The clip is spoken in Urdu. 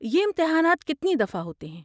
یہ امتحانات کتنی دفعہ ہوتے ہیں؟